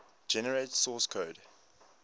generate source code